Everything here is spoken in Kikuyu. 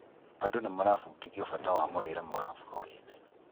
Andũ nĩmarabudithio bata wa mũrĩre mwega bũrurĩini